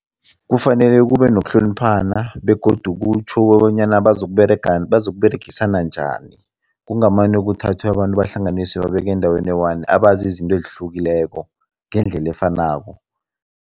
Kufanele kube nokuhloniphana begodu kutjho kobanyana bazokuberegisana njani. Kungamane kuthathwe abantu bahlanganiswe, babekwe endaweni eyi-one abazi izinto ezihlukileko ngendlela efanako.